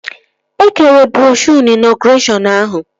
E kere broshuo na ịnọgụreshọn ahụ